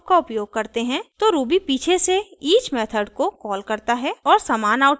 जब आप for loop का उपयोग करते हैं तो ruby पीछे से each मेथड को कॉल करता है